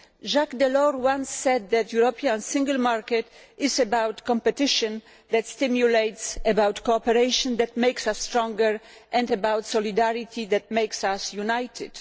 Jacques Delors once said that the European single market is about competition that stimulates, about cooperation that makes us stronger and about solidarity that makes us united.